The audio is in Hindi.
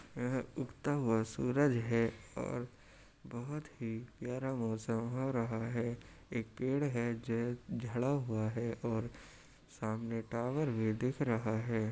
यह उगता हुआ सूरज है और बहुत ही प्यारा मौसम हो रहा है। एक पेड़ है जे झड़ा हुआ है और सामने टावर भी दिख रहा है।